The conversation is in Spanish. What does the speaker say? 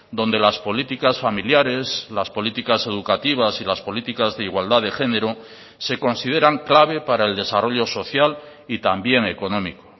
donde las políticas familiares las políticas educativas y las políticas de igualdad de género se consideran clave para el desarrollo social y también económico